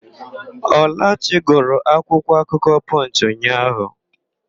Ọlachi gụrụ akwụkwọakụkọ Pọnchị ụnyaahụ.